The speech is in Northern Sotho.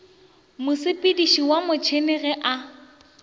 mosepediši wa motšhene ge a